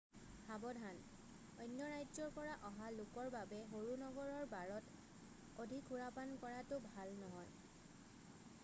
সাৱধান অন্য ৰাজ্যৰ পৰা অহা লোকৰ বাবে সৰু নগৰৰ বাৰত অধিক সুৰাপান কৰাটো ভাল নহয়